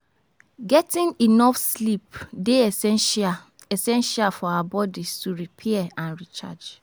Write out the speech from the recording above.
Getting enough sleep dey essential essential for our bodies to repair and recharge.